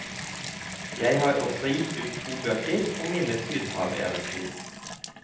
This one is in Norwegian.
Jeg har også gitt ut to bøker om mine sydhaveventyr.